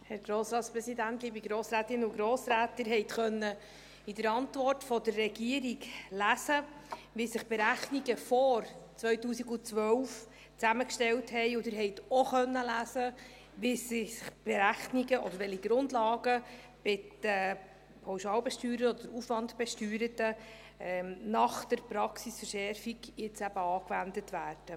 Sie konnten in der Antwort der Regierung lesen, wie sich die Berechnungen vor 2012 zusammensetzten, und Sie konnten auch lesen, welche Grundlagen bei den Pauschal- oder Aufwandbesteuerten eben jetzt, nach der Praxisverschärfung, angewendet werden.